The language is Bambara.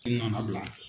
Ne nana bila